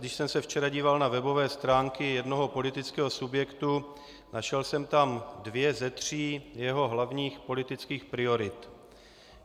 Když jsem se včera díval na webové stránky jednoho politického subjektu, našel jsem tam dvě ze tří jeho hlavních politických priorit.